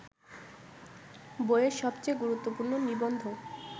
বইয়ের সবচেয়ে গুরুত্বপূর্ণ নিবন্ধ